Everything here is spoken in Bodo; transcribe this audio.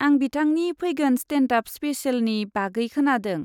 आं बिथांनि फैगोन स्टेन्द आप स्पेसेलनि बागै खोनादों।